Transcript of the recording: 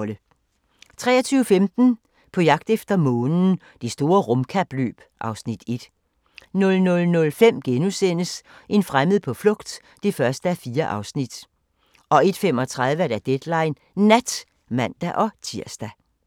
23:15: På jagt efter månen – Det store rumkapløb (Afs. 1) 00:05: En fremmed på flugt (1:4)* 01:35: Deadline Nat (man-tir)